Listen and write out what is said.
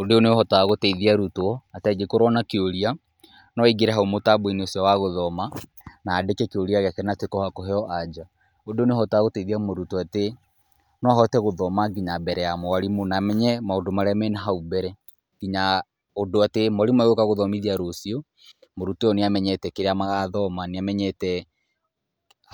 Ũndũ ũyũ nĩ ũhotaga gũteithia arutwo atĩ angĩkorwo na kĩũria no aingĩre hau mũtambo-inĩ icio wa gũthoma na andĩke kĩuria gĩake na atuĩke wa kũheo anja . Ũndũ ũyũ nĩ ũhotaga gũteithia mũrutwo atĩ no ahote gũthoma nginya mbere ya mwarimũ na amenye maũndũ marĩa me na hau mbere, nginya ũndũ atĩ mwarimũ agĩũka guthomithia rũcio, mũrutwo ũyũ nĩ amenyete kĩrĩa magathoma, nĩamenyete